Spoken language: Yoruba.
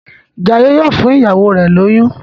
Jaiye yíò fún ìyàwó rẹ lóyún.